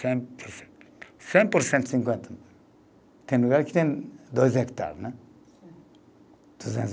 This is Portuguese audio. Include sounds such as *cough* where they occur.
Cem por cento, cinquenta, tem lugar que tem dois hectare, né? *unintelligible*